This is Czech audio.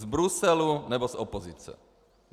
Z Bruselu nebo z opozice.